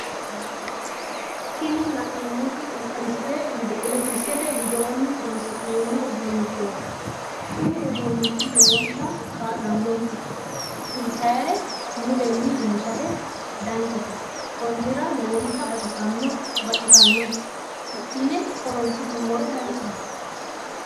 Tini la'neemmoti electricete widoonni horonsi'neemmo uduunnichooti Kuni uduunnichi lowontta kaa'lanonke inttannire mulenni iillishate danchate konnira lowontta baxxissanno hidhine horonsi'nummoro danchaho